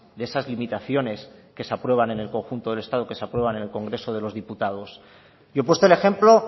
de esas limitaciones que se aprueban en el conjunto del estado que se aprueban en el congreso de los diputados yo he puesto el ejemplo